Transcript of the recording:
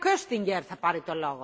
Frau Präsidentin!